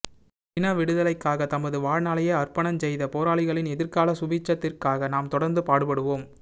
இன விடுதலைக்காக தமது வாழ்நாளையே அர்ப்பணஞ் செய்த போராளிகளின் எதிர்கால சுபீட்சத்திற்காக நாம் தொடர்ந்து பாடுபடுவோம்